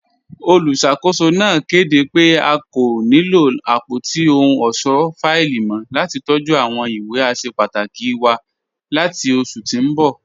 Olúṣakòsò náà kẹdé pẹ̀ à kò ní lọ apọ̀tí òhùn ọṣọ́ fáìlì mọ̀ lati tọ̀jú awọn ìwé àṣẹ pàtàkì wà láti oṣù tí n bọ.